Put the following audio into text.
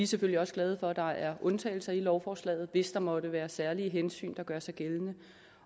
selvfølgelig også glade for at der er undtagelser i lovforslaget hvis der måtte være særlige hensyn der gør sig gældende